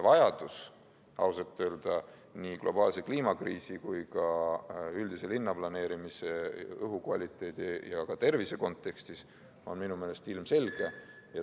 Vajadus selle järele on ausalt öelda nii globaalse kliimakriisi kui ka üldise linnaplaneerimise, õhu kvaliteedi ja tervise kontekstis minu meelest ilmselge.